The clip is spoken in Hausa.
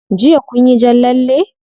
Jiya kunyi jan lalle?